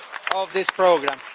of this programme.